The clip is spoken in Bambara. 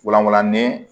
Wulawalanin